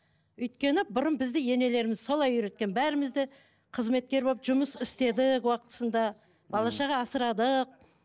өйткені бұрын бізді енелеріміз солай үйреткен бәріміз де қызметкер болып жұмыс істедік уақытысында бала шаға асырадық